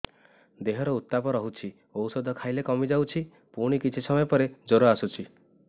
ଦେହର ଉତ୍ତାପ ରହୁଛି ଔଷଧ ଖାଇଲେ କମିଯାଉଛି ପୁଣି କିଛି ସମୟ ପରେ ଜ୍ୱର ଆସୁଛି